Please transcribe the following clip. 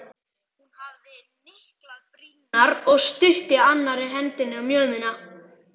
Hún hafði hnyklað brýnnar og studdi annarri hendinni á mjöðmina.